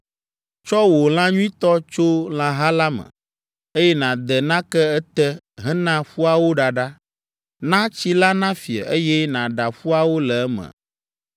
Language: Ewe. Tsɔ wò lã nyuitɔ tso lãha la me, eye nàde nake ete hena ƒuawo ɖaɖa. Na tsi la nafie, eye nàɖa ƒuawo le eme.